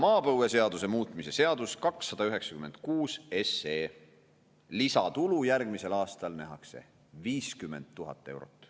Maapõueseaduse muutmise seaduse eelnõu 296: lisatulu järgmisel aastal nähakse 50 000 eurot.